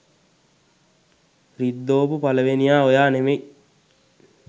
රිද්දෝපු පළවෙනියා ඔයා නෙමේ.